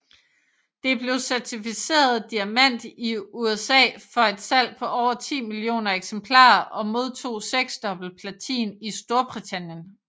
Det blev certificeret Diamant i USA for et salg på over 10 millioner eksemplarer og modtog seksdobbelt platin i Storbritannien